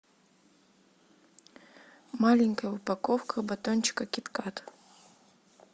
маленькая упаковка батончика кит кат